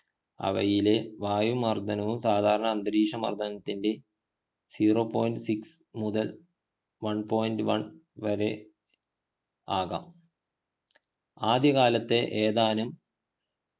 അവയിലെ വായുമർദ്ദനവും സാദാരണ അന്തരീക്ഷമർദ്ദത്തിൽ zero point six മുതൽ one point one വരെ ആകാം ആദ്യകാലത്ത് ഏതാനും